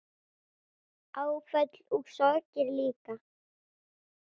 Áföll og sorgir líka.